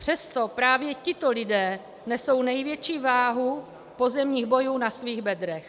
Přesto právě tito lidé nesou největší váhu pozemních bojů na svých bedrech.